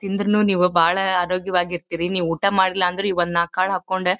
ತಿಂದ್ರುನು ನೀವು ಬಹಳ ಅರೋಗ್ಯ ವಾಗಿರ್ತೀರಿ ನೀವು ಊಟ ಮಾಡಿಲ್ಲ ಅಂದ್ರೂನು ನಾಕ್ಕಾಳ್ ಹಾಕೊಂಡು--